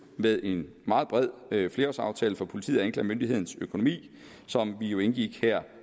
med en meget bred flerårsaftale for politiets og anklagemyndighedens økonomi som vi jo indgik her